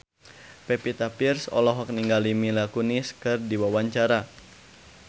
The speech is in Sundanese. Pevita Pearce olohok ningali Mila Kunis keur diwawancara